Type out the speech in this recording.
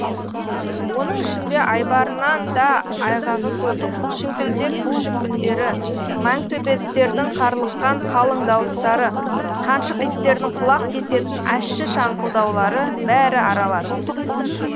оның ішінде айбарынан да айғағы көп шіңкілдек күшік үндері маңтөбеттердің қарлыққан қалың дауыстары қаншық иттердің құлақ кесетін ащы шаңқылдаулары бәрі аралас